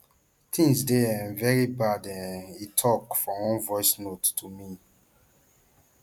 things dey um very bad um e tok for one voice note to me